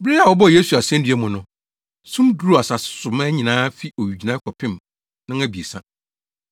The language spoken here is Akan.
Bere a wɔbɔɔ Yesu asennua mu no, sum duruu asase so mmaa nyinaa fi owigyinae kɔpem nnɔnabiɛsa.